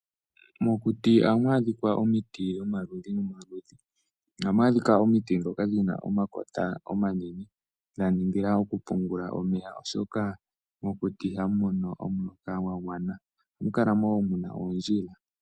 Mokuti ohamu adhika omiti dhomaludhi ogendji ohamu adhika omiti ndhoka dhina onakota omanene dha ningila okupungula omeya oshoka mokuti ihamu mono omuloka gwagwana. Ohamu kala wo muna oondjila.